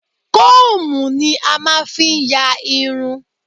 Kóòmù ni a máa ń fi ń yá irun.